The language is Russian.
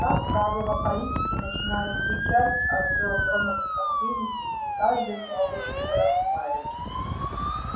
как правило политики начинают кричать о сэлдоновском кризисе при каждых новых выборах в мэры